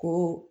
Ko